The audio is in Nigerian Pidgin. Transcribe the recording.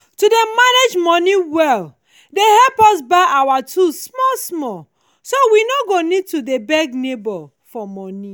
to dey manage money well dey help us buy our tools small small so we no go need to dey beg neighbor for money.